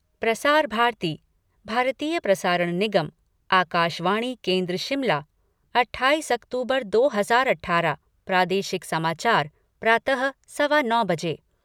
प्रसार भारती भारतीय प्रसारण निगम आकाशवाणी केन्द्र शिमला अट्ठाईस अक्तूबर दो हजार अठारह प्रादेशिक समाचार प्रातः सवा नौ बजे